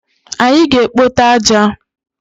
Anyị ga-ekpote aja.